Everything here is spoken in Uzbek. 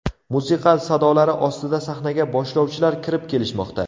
Musiqa sadolari ostida sahnaga boshlovchilar kirib kelishmoqda.